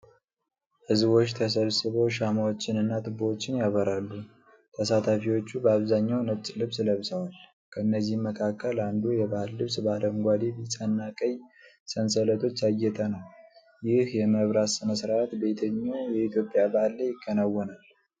ህዝቦች ተሰብስበው ሻማዎችንና ችቦዎችን ያበራሉ። ተሳታፊዎቹ በአብዛኛው ነጭ ልብስ ለብሰዋል፤ ከእነዚህም መካከል አንዱ የባህል ልብስ በአረንጓዴ፣ ቢጫና ቀይ ሰንሰለቶች ያጌጠ ነው። ይህ የመብራት ሥነ ሥርዓት በየትኛው የኢትዮጵያ በዓል ላይ ይከወናል?